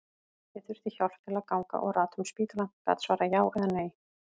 Ég þurfti hjálp til að ganga og rata um spítalann, gat svarað já eða nei.